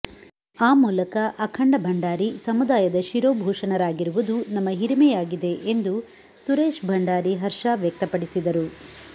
ಆ ಮೂಲಕ ಅಖಂಡ ಭಂಡಾರಿ ಸಮುದಾಯದ ಶಿರೋಭೂಷಣರಾಗಿರುವುದು ನಮ್ಮ ಹಿರಿಮೆಯಾಗಿದೆ ಎಂದು ಸುರೇಶ್ ಭಂಡಾರಿ ಹರ್ಷ ವ್ಯಕ್ತಪಡಿಸಿದರು